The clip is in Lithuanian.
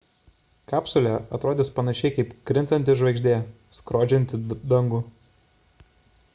kapsulė atrodys panašiai kaip krintanti žvaigždė skrodžianti dangų